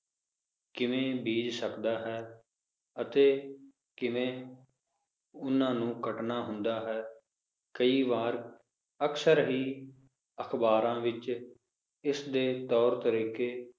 ਕਿਵੇਂ ਬੀਜ ਸਕਦਾ ਹੈ ਅਤੇ ਕਿਵੇਂ ਓਹਨਾ ਨੂੰ ਕੱਟਣਾ ਹੁੰਦਾ ਹੈ ਕਈ ਵਾਰ ਅਕਸਰ ਹੀ ਅਖਬਾਰਾਂ ਵਿਚ ਇਸਦੇ ਤੌਰ ਤਰੀਕੇ